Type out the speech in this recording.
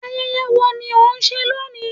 Ayẹyẹ wo ni ó ń ṣe lónìí